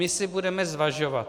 My si budeme zvažovat.